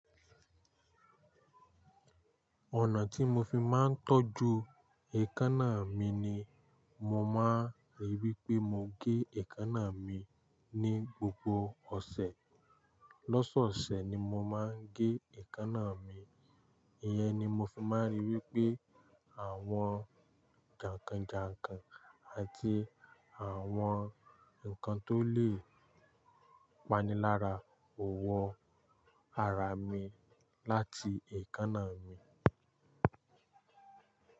Ọ̀nà tí mo fi máa ń tọ́jú èékánná mi ni, mo máa ń ríi wí pé mo gé èékánná mi ní gbogbo ọ̀sẹ̀. Lọ́sọ̀ọ̀sẹ̀ ni mo máa ń gé èékánná mi, ìyẹn ni mo fi máa ń ríi wí pé àwọn jàǹkàn jàǹkàn àti àwọn nǹkan tó lè pani lára ò wọ ara mi láti èékánná mi.